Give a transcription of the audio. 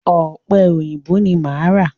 Ọ̀pẹ èyìǹbó ni máa ra.